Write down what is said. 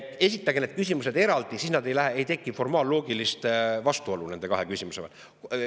Esitage need küsimused eraldi, siis ei teki formaalloogilist vastuolu nende kahe küsimuse vahel.